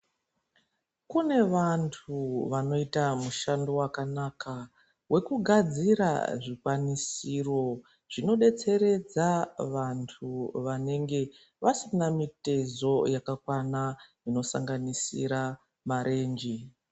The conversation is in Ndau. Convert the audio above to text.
Kune vantu vanoita mushando wakanaka wekugadzira zvikwanisiro zvinodetseredza vantu vanenge vasina mitezo yakakwana inosanganisra marenje.